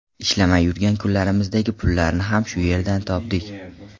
Ishlamay yurgan kunlarimizdagi pullarni ham shu yerdan topdik.